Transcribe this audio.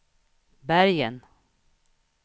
Bergen